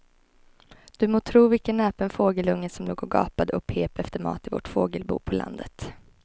Du må tro vilken näpen fågelunge som låg och gapade och pep efter mat i vårt fågelbo på landet.